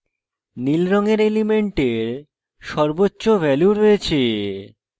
নীল রঙের elements সর্বোচ্চ value রয়েছে